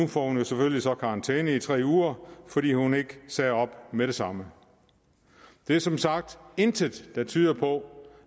får jo selvfølgelig så karantæne i tre uger fordi hun ikke sagde op med det samme der er som sagt intet der tyder på